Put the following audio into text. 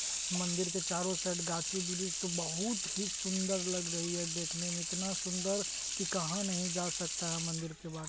मंदिर के चारो साइड गाछी वृक्ष तो बहुत ही सुन्दर लग रही है देखने में इतना सुन्दर की कहा नहीं जा सकता है मंदिर के बारे ----